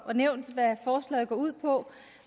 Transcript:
har nævnt hvad forslaget går ud på